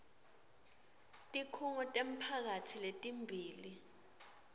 tikhungo temphakatsi letimbili